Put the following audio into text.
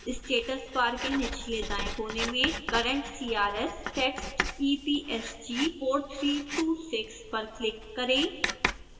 status बार के निचलेदाएं कोने में current crs टेक्स्ट epsg:4326 पर क्लिक करें